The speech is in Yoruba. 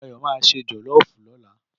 Dáyọ̀ ma ṣe jọ̀lọ́fù lọ́la.